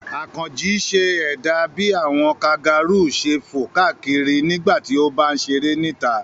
Àkànjí ṣe ẹ̀dà bí àwọn kangaru ṣe fò káàkiri nígbà tí ó bá ń ṣeré níta.